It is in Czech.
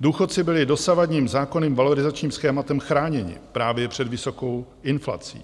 Důchodci byli dosavadním zákonným valorizačním schématem chráněni právě před vysokou inflací